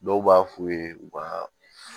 Dɔw b'a f'u ye u ka